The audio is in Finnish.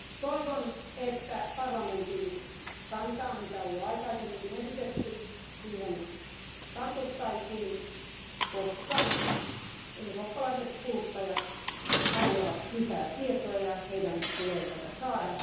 Toivon, että parlamentin kantaan mikä on jo aikaisemminkin esitetty tartuttaisiin, koska eurooppalaiset kuluttajat haluavat lisää tietoja, heidän tulee niitä saada.